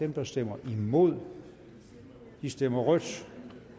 der stemmer imod stemmer rødt